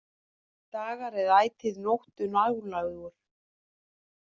Dagar er ætíð nóttu nálægur.